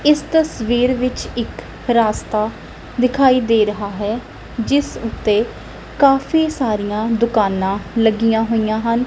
ਇਸ ਤਸਵੀਰ ਵਿੱਚ ਇੱਕ ਰਸਤਾ ਦਿਖਾਈ ਦੇ ਰਿਹਾ ਹੈ ਜਿਸ ਉੱਤੇ ਕਾਫੀ ਸਾਰੀਆਂ ਦੁਕਾਨਾਂ ਲੱਗੀਆਂ ਹੋਈਆਂ ਹਨ।